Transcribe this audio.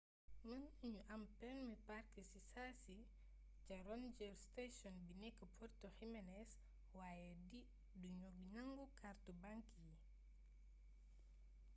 mën nañu am permi park si saasi ca ranger sation bi nek puerto jiménes waaye du ñu nangu kàrtu bank yi